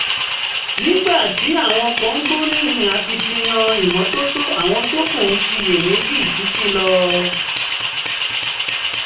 nígbà tí àwọn kan gbóríyìn akitiyan ìmọ́tótó àwọn tó kù ń ṣiyèméjì títí lọ